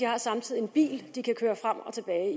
har samtidig en bil de kan køre frem og tilbage